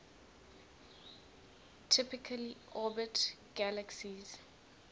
typically orbit galaxies